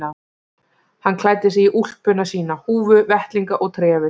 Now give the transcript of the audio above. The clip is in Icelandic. Hann klæddi sig í úlpuna sína, húfu, vettlinga og trefil.